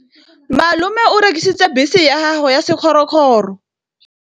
Malome o rekisitse bese ya gagwe ya sekgorokgoro.